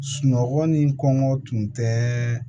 Sunɔgɔ ni kɔngɔ tun tɛ